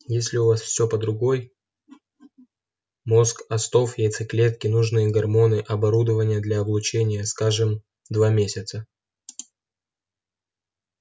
если у вас всё под рукой мозг остов яйцеклетки нужные гормоны оборудование для облучения скажем два месяца